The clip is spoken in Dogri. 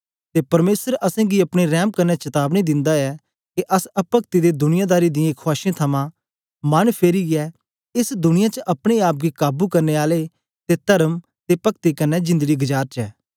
ते परमेसर असेंगी अपने रैंम कन्ने चतावनी दिंदा ऐ के अस अपक्ति ते दुनियादारी दियें खुआशें थमां मन फिरीयै एस दुनिया च अपने आप गी काबू करने आले ते तर्म ते पक्ति कन्ने जिंदड़ी गजारचै